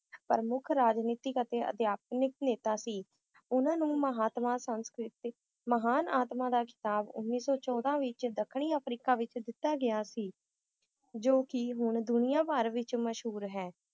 ਪ੍ਰਮੁੱਖ ਰਾਜਨੀਤਿਕ ਅਤੇ ਅਧਿਆਤਮਿਕ ਨੇਤਾ ਸੀ ਉਹਨਾਂ ਨੂੰ ਮਹਾਤਮਾ ਸੰਸਕ੍ਰਿਤਿਕ ਮਹਾਨ ਆਤਮਾ ਦਾ ਖਿਤਾਬ ਉੱਨੀ ਸੌ ਚੌਦਾਂ ਵਿਚ ਦੱਖਣੀ ਅਫ੍ਰੀਕਾ ਵਿਚ ਦਿੱਤਾ ਗਿਆ ਸੀ ਜੋ ਕਿ ਹੁਣ ਦੁਨੀਆਂ ਭਰ ਵਿਚ ਮਸ਼ਹੂਰ ਹੈ l